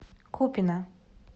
купино